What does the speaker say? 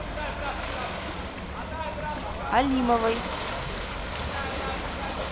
алимовой